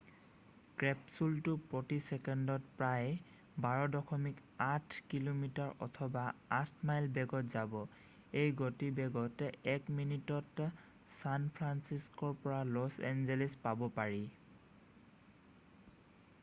কেপচুলটো প্ৰতি চেকেণ্ডত প্ৰায় 12.8 কিমি অথবা 8 মাইল বেগত যাব এই গতিবেগত 1 মিনিতত ছান ফ্ৰান্সিস্ক'ৰ পৰা লছ এঞ্জেলছ পাব পাৰি